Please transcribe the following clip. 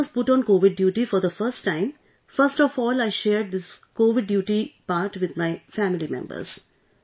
When I was put on Covid duty for the first time, first of all I shared this Covid duty part with my family members